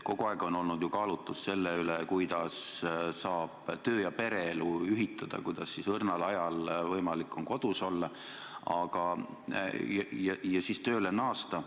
Kogu aeg on olnud ju kaalutlus see, kuidas saab töö- ja pereelu ühitada, kuidas on õrnal ajal võimalik kodus olla ja siis tööle naasta.